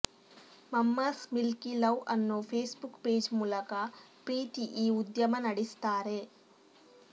Mamma's Milky Love ಅನ್ನೋ Facebook page ಮೂಲಕ ಪ್ರೀತಿ ಈ ಉದ್ಯಮ ನಡೆಸ್ತಾರೆ